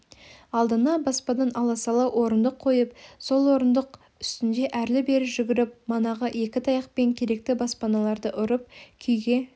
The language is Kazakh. алдына баспадан аласалау орындық қойып сол орындық үстінде әрлі-берлі жүгіріп манағы екі таяқпен керекті баспаларды ұрып күйге